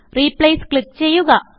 replace click ചെയ്യുക